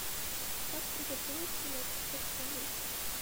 как приготовить селедку под шубой